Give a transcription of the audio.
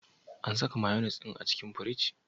An saka mayones din a cikin firiji?